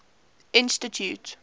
institute